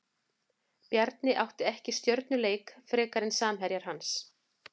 Bjarni átti ekki stjörnuleik frekar en samherjar hans.